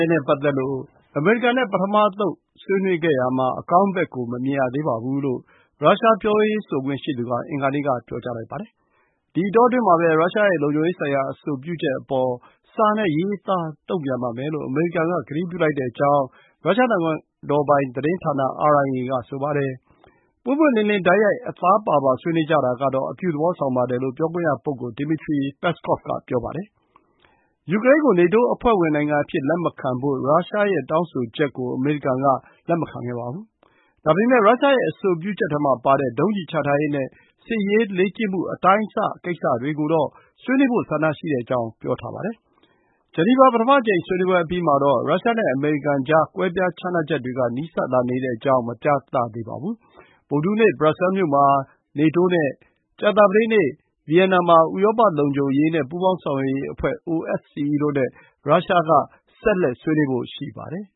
ဲ့ပတ်သက်လို့ အမေရိကန်နဲ့ ပထမအသုတ် ဆွေးနွေးခဲ့ရာမှာ အကောင်းမမြင်သေးဘူးလို့ ရုရှားပြောရေးဆိုခွင့်ရှိသူက အင်္ဂါနေ့မှာ ပြောလိုက်ပါတယ်။ ဒီအတောအတွင်းမှာပဲ ရုရှားရဲ့လုံခြုံရေးဆိုင်ရာ အဆိုပြုချက်အပေါ် စာနဲ့ရေးသား တုံ့ပြန်ပါမယ်လို့ အမေရိကန်က ကတိပြုလိုက်ကြောင်း ရုရှားနိုင်ငံတော်ပိုင်သတင်းဌာန RIA က ဆိုပါတယ်။ ပွင့်ပွင့်လင်းလင်း၊ တိုက်ရိုက်၊ အသားပါပါ ဆွေးနွေးကြတာကတော့ အပြုသဘော ဆောင်ပါတယ်လို့ ပြောခွင့်ရပုဂ္ဂိုလ် Dmitry Peskov က ဆိုပါတယ်။ ရုရှားက ယူကရိန်းကို နေတိုးအဖွဲ့ဝင်နိုင်ငံအဖြစ်လက်မခံဖို့ တောင်းဆိုထားတာကို အမေရိကန်က လက်မခံခဲ့ပါဘူး။ ဒါပေမဲ့ ရုရှားရဲ့အဆိုပြုချက်ထဲမှာပါတဲ့ ဒုံးကျည် ချထားရေးနဲ့ စစ်ရေးလေ့ကျင့်မှုအရွယ်အစားကိစ္စတွေကိုတော့ ဆွေးနွေးဖို့ ဆန္ဒရှိကြောင်း ပြောပါတယ်။ ဂျနီဗာ ပထမအကြိမ်ဆွေးနွေးပွဲအပြီးမှာတော့ ရုရှားနဲ့အမေရိကန်ကြား ကွဲပြားခြားနားချက်တွေက နီးစပ်လာနေကြောင်း မပြသခဲ့ကြပါဘူး။ ဗုဒ္ဓဟူးနေ့၊ ဘရပ်ဆဲမြို့မှာ နေတိုးနဲ့ ကြာသပတေးနေ့ Vienna မှာ ဥရောပ လုံခြုံရေး နဲ့ ပူးပေါင်းဆောင်ရွက်ရေးအဖွဲ့ (OSCE) တို့နဲ့ ရုရှားက ဆွေးနွေးဖို့ ရှိပါတယ်။